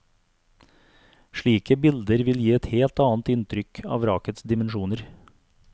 Slike bilder vil gi et helt annet inntrykk av vrakets dimensjoner.